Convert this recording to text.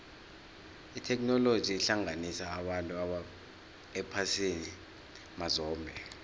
itheknoloji ihlanganisa abantu ephasini mazombe